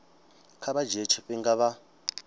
kha vha dzhie tshifhinga vha